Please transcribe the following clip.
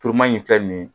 Turuman in filɛ nin ye